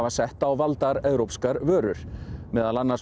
settu á valdar evrópskar vörur meðal annars